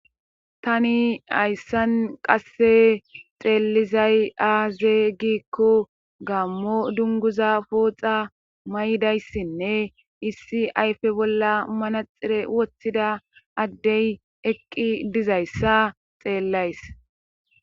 tani hayssan qasse xeellizay aaze giikko gaammo dunguza pooxa may7dayssinne issi ayfe bolla manaxire wottida addey eqqi dizayssa xeellays